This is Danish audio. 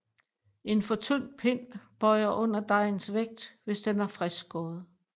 En for tynd pind bøjer under dejens vægt hvis den er friskskåret